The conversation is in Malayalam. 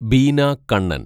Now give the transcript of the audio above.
ബീന കണ്ണന്‍